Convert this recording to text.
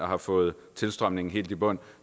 har fået tilstrømningen helt i bund